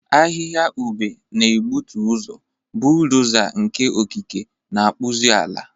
Ahịhịa ube na-egbutu ụzọ, bulldoza nke okike na-akpụzi ala.